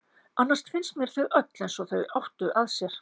Annars finnst mér þau öll eins og þau áttu að sér.